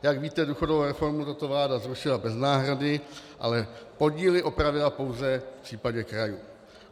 Jak víte, důchodovou reformu tato vláda zrušila bez náhrady, ale podíly opravila pouze v případě krajů.